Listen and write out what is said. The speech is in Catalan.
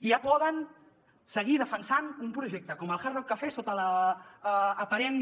i ja poden seguir defensant un projecte com el hard rock cafè sota l’aparent